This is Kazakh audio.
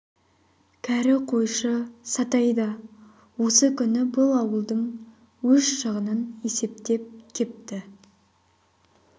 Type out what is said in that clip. кәрі қойшы сатай да осы күні бұл ауылдың өз шығынын есептеп кепті